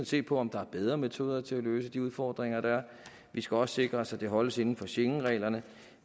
se på om der er bedre metoder til at løse de udfordringer der er vi skal også sikre os at det holdes inden for schengenreglerne